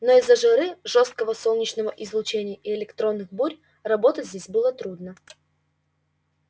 но из-за жары жёсткого солнечного излучения и электронных бурь работать здесь было трудно